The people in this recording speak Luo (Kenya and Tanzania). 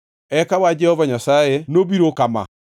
Eka wach Jehova Nyasaye nobirona kama: